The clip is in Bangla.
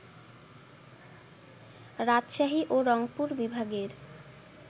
রাজশাহী ও রংপুর বিভাগের